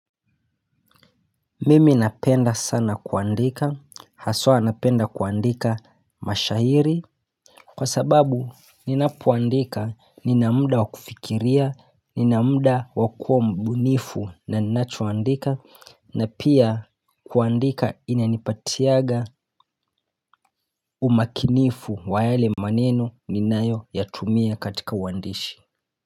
Mimi napenda sana kuandika, haswa napenda kuandika mashairi, kwa sababu ninapo andika nina muda wakufikiria, nina muda wakuwa mbunifu na ninacho andika, na pia kuandika ina nipatiaga umakinifu wa yale maneno ninayo yatumia katika uandishi.